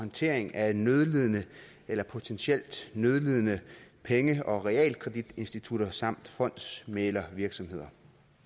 håndtering af nødlidende eller potentielt nødlidende penge og realkreditinstitutter samt fondsmæglervirksomheder